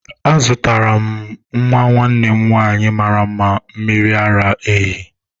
Azụtara m nwa nwanne m nwanyị mara mma mmiri ara ehi.